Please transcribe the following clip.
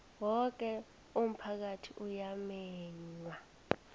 woke umphakathi uyamenywa